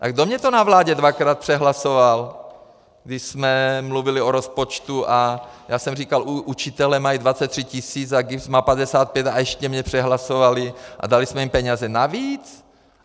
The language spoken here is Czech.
A kdo mi to na vládě dvakrát přehlasoval, když jsme mluvili o rozpočtu a já jsem říkal, učitelé mají 23 tisíc a GIBS má 55 a ještě mě přehlasovali a dali jsme jim peníze navíc?